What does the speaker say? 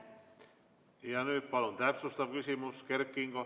Ja nüüd palun täpsustav küsimus, Kert Kingo.